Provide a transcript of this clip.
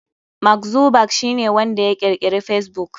Mark Zuckerberg shi ne ya kirkiri facebook.